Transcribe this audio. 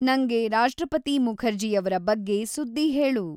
ನಂಗೆ ರಾಷ್ಟ್ರಪತಿ ಮುಖರ್ಜೀಯವ್ರ ಬಗ್ಗೆ ಸುದ್ದಿ ಹೇಳು